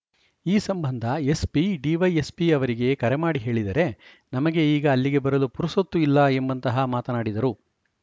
ಈ ಸಂಬಂಧ SP DYSP ಅವರಿಗೆ ಕರೆ ಮಾಡಿ ಹೇಳಿದರೆ ನಮಗೆ ಈಗ ಅಲ್ಲಿಗೆ ಬರಲು ಪುರುಸೊತ್ತು ಇಲ್ಲ ಎಂಬಂತಹ ಮಾತನಾಡಿದರು